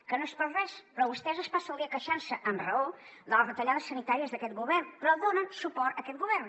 que no és per res però vostès es passen el dia queixant se amb raó de les retallades sanitàries d’aquest govern però donen suport a aquest govern